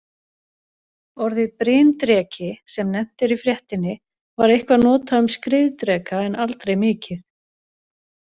Orðið bryndreki, sem nefnt er í fréttinni, var eitthvað notað um skriðdreka en aldrei mikið.